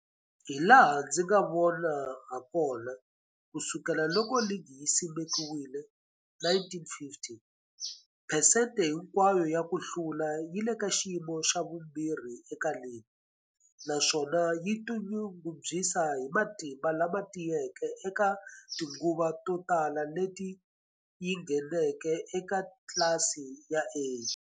Hilaha ndzi nga vona hakona, ku sukela loko ligi yi simekiwile, 1950, phesente hinkwayo ya ku hlula yi le ka xiyimo xa vumbirhi eka ligi, naswona yi tinyungubyisa hi matimba lama tiyeke eka tinguva to tala leti yi ngheneke eka tlilasi ya A.